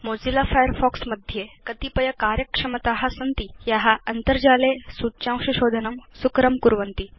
Mozilla Firefox मध्ये कतिपय कार्यक्षमता सन्ति या अन्तर्जाले सूच्यांश शोधनं सुकरं कुर्वन्ति